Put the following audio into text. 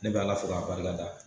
Ne b'ala fo k'a barikada